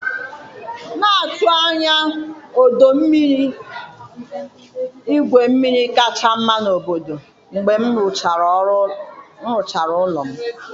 Na-atụ anya ọdọ mmiri igwu mmiri kacha mma n'obodo, mgbe m rụchara ụlọ m.